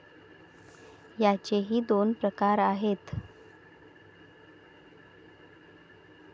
याचेही दोन प्रकार आहेत.